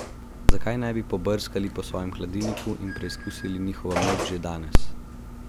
Zakaj ne bi pobrskali po svojem hladilniku in preizkusili njihovo moč že danes?